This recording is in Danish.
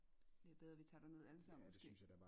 Det er bedre vi tager derned alle sammen måske